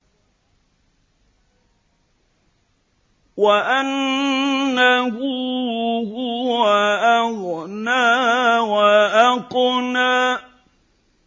وَأَنَّهُ هُوَ أَغْنَىٰ وَأَقْنَىٰ